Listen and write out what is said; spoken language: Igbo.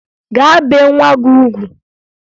Gaa bee nwa gị ugwu!